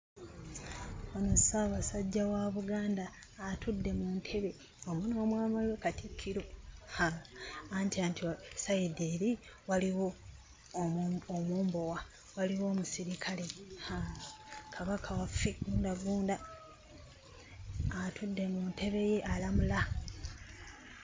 Ono Ssaabasajja wa Buganda atudde mu ntebe wamu n'omwami we Katikkiro. Haa! Anti sayidi eri waliwo omumbowa, waliwo omusirikale. Haa! Kabaka waffe ggundagunda, atudde mu ntebe ye alamula.